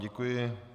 Děkuji.